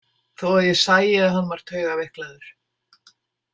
Þó að ég sæi að hann var taugaveiklaður.